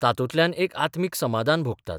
तातूंतल्यान एक आत्मीक समादान भोगतात.